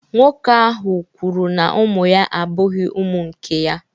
Nwoke ahụ kwuru na ụmụ ya abụghị ụmụ nke ya